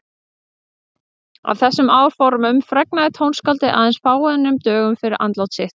Af þessum áformum fregnaði tónskáldið aðeins fáeinum dögum fyrir andlát sitt.